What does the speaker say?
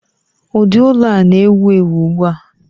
ụdị ụlọ a na-ewu ewu ugbu a